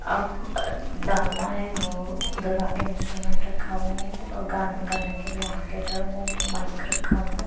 अब डालना है वो गर्ग इंस्ट्रूमेंट हुआ है और गाना गाने के लिए आगे जो है वो माइक रखा हुआ है।